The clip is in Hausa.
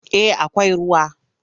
Eh akwai ruwa.